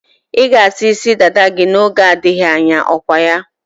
Ị ga-asa isi dada gị n'oge na-adịghị anya, okwaya?